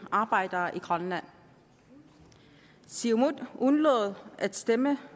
arbejdere i grønland siumut undlod at stemme